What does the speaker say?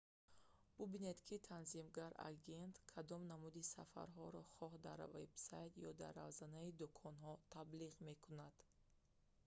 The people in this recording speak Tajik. бубинед ки танзимгар агент кадом намуди сафарҳоро хоҳ дар вебсайт ё дар равзанаи дӯконҳо таблиғ мекунад